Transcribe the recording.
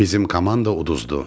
Bizim komanda uduzdu.